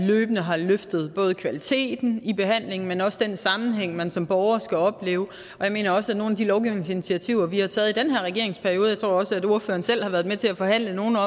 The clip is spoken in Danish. løbende har løftet både kvaliteten i behandlingen men også den sammenhæng man som borger skal opleve jeg mener også at nogle af de lovgivningsinitiativer vi har taget i den her regerings periode jeg tror også at ordføreren selv har været med til at forhandle nogle